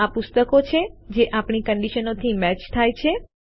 આ પુસ્તકો છે જે આપણી કંડીશનોથી મેચ થાય છે